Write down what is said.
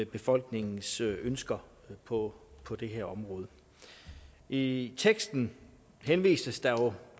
befolkningens ønsker på på det her område i teksten henvises der jo